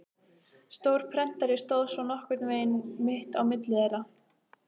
Stór prentari stóð svo nokkurn veginn mitt á milli þeirra.